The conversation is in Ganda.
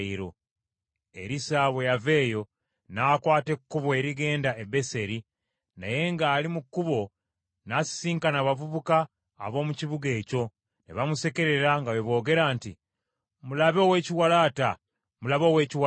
Erisa bwe yava eyo n’akwata ekkubo erigenda e Beseri. Naye ng’ali mu kkubo, n’asisinkana abavubuka ab’omu kibuga ekyo ne bamusekerera nga bwe boogera nti, “Mulabe ow’ekiwalaata! Mulabe ow’ekiwalaata!”